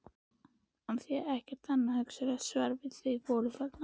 Af því- ekkert annað hugsanlegt svar- að þau voru þarna.